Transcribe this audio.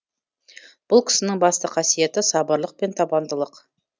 бұл кісінің басты қасиеті сабырлық пен табандылық